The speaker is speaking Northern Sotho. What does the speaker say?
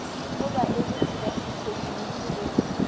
go baeletši ba sethekniki go